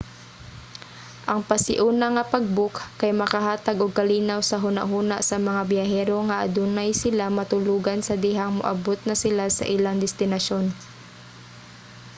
ang pasiuna nga pag-book kay makahatag og kalinaw sa hunahuna sa mga biyahero nga adunay sila matulogan sa dihang moabot na sila sa ilang destinasyon